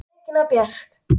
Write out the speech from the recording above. Regína Björk!